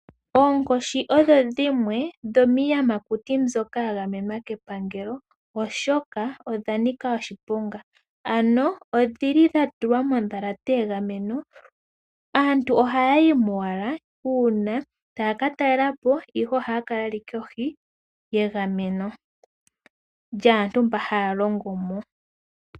Oonkoshi odho dhimwe dhomiiyamakuti mbyoka ya gamenwa kepangelo, oshoka odha nika oshiponga. Odha tulwa mondhalate ya gamwenwa. Aantu ohaya yi mo owala uuna taya ka talela po, ihe ohaya kala ye li kohi yegameno lyaantu mba haya longo mo.